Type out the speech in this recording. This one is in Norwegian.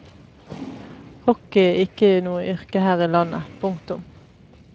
Hockey er ikke noe yrke her i landet. punktum